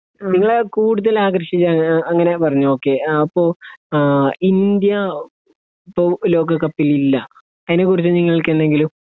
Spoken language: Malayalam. നിങ്ങൾ കൂടുതൽ ആകർഷിക്കാൻ ഏഹ് അങ്ങനെ പറഞ്ഞു ഓക്കേ ആ പ്പോ ഏഹ് ഇന്ത്യ ഇപ്പൊ ലോക കപ്പിൽ ഇല്ല അയിനെ കുറിച്ച് നിങ്ങക്ക് എന്തെങ്കിലും